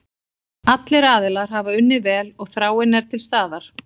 Allir aðilar hafa unnið vel og þráin er til staðar.